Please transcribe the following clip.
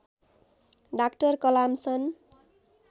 doctor Kalam सन्